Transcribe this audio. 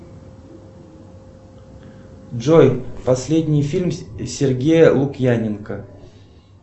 джой последний фильм сергея лукьяненко